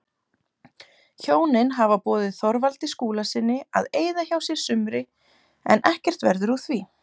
Hjónin hafa boðið Þorvaldi Skúlasyni að eyða hjá sér sumri en ekkert verður úr því.